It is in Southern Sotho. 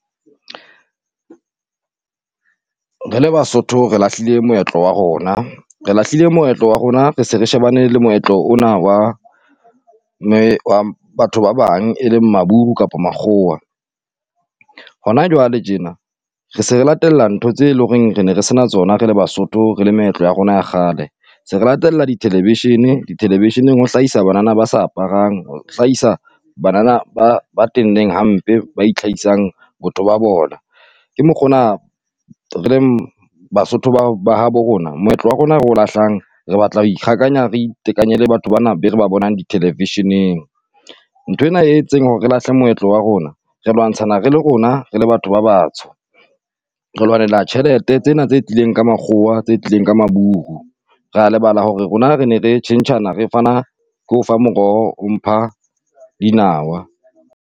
Re le Basotho re lahlile moetlo wa rona. Re lahlile moetlo wa rona re se re shebane le moetlo ona wa batho ba bang e leng maburu kapa makgowa. Hona jwale tjena re se re latella ntho tse lo reng re ne re sena tsona re le Basotho, re le meetlo ya rona ya kgale. Se re latella di-television-i di-television-eng ho hlahisa banana ba sa aparang, ho hlahisa banana ba ba tenneng hampe ba itlhahisang botho ba bona. Ke mokgona re leng Basotho ba ba habo rona moetlo wa rona ro lahlang re batla ho ikgakanya, re itekanye le batho bana be re ba bonang di-television-eng. Nthwena e e tseng hore re lahle moetlo wa rona, re lwantshana re le rona, re le batho ba batsho. Re lwanela tjhelete tsena tse tlileng ka makgowa tse tlileng ka maburu. Ra lebala hore rona re ne re tjhentjhana re fana ke o fa moroho, o mpha dinawa.